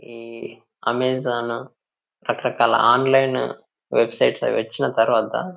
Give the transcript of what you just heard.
ఈ అమెజాన్ రకరకాల online websites అవి వచ్చిన తర్వాత--